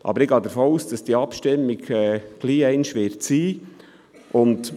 Ich gehe aber davon aus, dass diese Abstimmung bald einmal stattfinden wird.